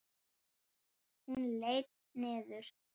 Hún leit niður.